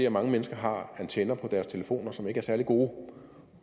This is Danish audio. at mange mennesker har antenner på deres telefoner som ikke er særlig gode